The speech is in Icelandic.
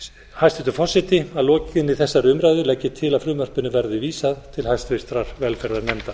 hæstvirtur forseti að lokinni þessari umræðu legg ég til að frumvarpinu verði vísað til háttvirtrar velferðarnefndar